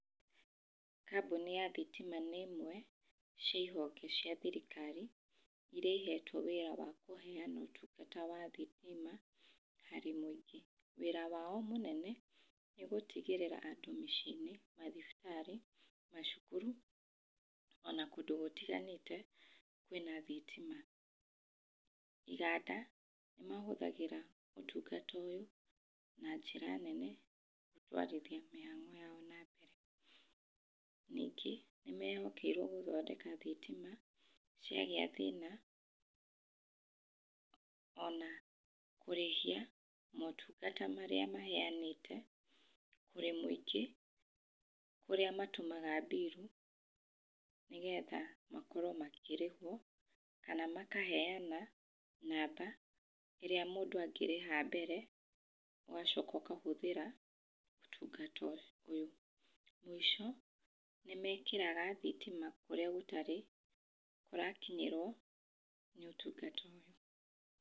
Kambuni ya thitima nĩ imwe cia honge cia thirikari iria ihetwo wĩra wa kũheana ũtungata wa thitima harĩ mũingĩ. Wira wao mũnene nĩ gũtigĩrĩra andũ mĩciĩ-inĩ, mathibitarĩ, macukuru ona kũndũ gũtiganĩte kwĩna thitima. Iganda nĩ mahũthagĩra ũtungata ũyũ na njĩra nene gũtwarithia mĩhang'o yao na mbere. Ningĩ nĩ mehokeirwo gũthondeka thitima ciagĩa thĩna ona kũrĩhia motungata marĩa maheanĩte kũrĩ mũingĩ kũrĩa matũmaga mbirũ, nĩgetha makorwo makĩrĩhwo kana makaheana namba ĩrĩa mũndũ angĩrĩha mbere ũgacoka ũkahũthĩra ũtungata ũyũ. Mũico nĩ mekĩraga thitima kũrĩa gũtarĩ magakinyĩrwo nĩ ũtungata ũyũ.